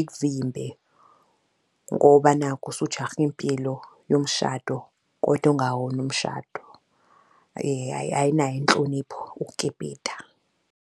ikuvimbe ngoba nakhu usujahe impilo yomshado, kodwa ongawona umshado ayinayo inhlonipho ukukipita.